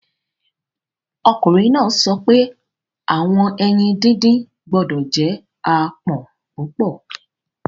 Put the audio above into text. Ọkunrin naa sọ pe awọn eyin didin gbọdọ jẹ aapọn pupọ